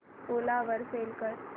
ओला वर सेल कर